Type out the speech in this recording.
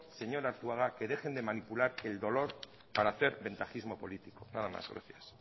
señor arzuaga que dejen de manipular el dolor para hacer ventajismo político nada más gracias